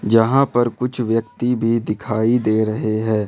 जहां पर कुछ व्यक्ति भी दिखाई दे रहे हैं।